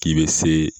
K'i bɛ se